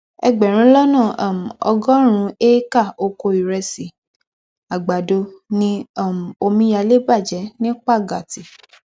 ẹgbẹrún lọnà um ọgọrùnún éékà ọkọ ìrẹsì àgbàdo ni um omíyalé bàjẹ ní pàgàtì